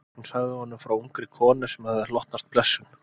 Hún sagði honum frá ungri konu sem hafði hlotnast blessun